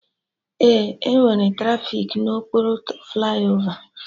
Ee, enwere trafiki na okpuru flaiova